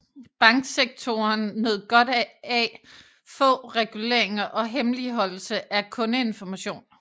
Banksektoren nød godt af få reguleringer og hemmeligholdelse af kundeinformation